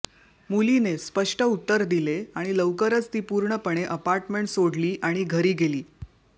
मुलीने स्पष्ट उत्तर दिले आणि लवकरच ती पूर्णपणे अपार्टमेंट सोडली आणि घरी गेली